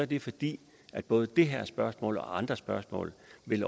det fordi både det her spørgsmål og andre spørgsmål